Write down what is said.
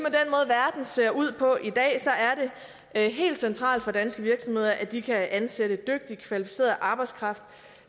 at ser ud på i dag er helt centralt for danske virksomheder at de kan ansætte dygtig og kvalificeret arbejdskraft